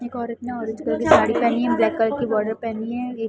एक औरत ना ऑरेंज कलर की साड़ी पहनी हैं ब्लैक कलर की बॉर्डर पहनी हैं एक --